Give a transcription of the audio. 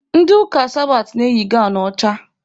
Ndị ụka sabatị na-eyi gawnụ ọcha.